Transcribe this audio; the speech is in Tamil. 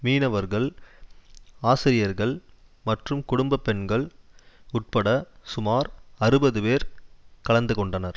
மீனவர்கள் ஆசிரியர்கள் மற்றும் குடும்ப பெண்கள் உட்பட சுமார் அறுபது பேர் கலந்துகொண்டனர்